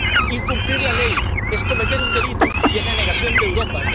es incumplir la ley, es cometer un delito y es la negación de Europa.